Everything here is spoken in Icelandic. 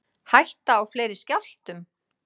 Hætta á fleiri skjálftum